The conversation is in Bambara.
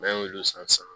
N'an y'olu san